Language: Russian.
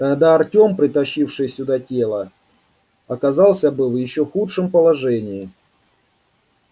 тогда артём притащивший сюда тело оказался бы в ещё худшем положении